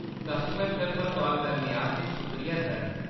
Customer care पर call करने आस्तै शुक्रिया, सर।